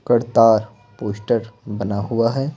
Kartar poster बना हुआ है।